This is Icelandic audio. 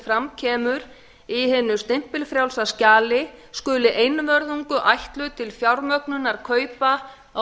fram kemur í hinu stimpilfrjálsa skjali skuli einvörðungu ætluð til fjármögnunar kaupa á